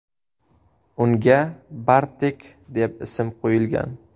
Unga Bartek deb ism qo‘yilgan.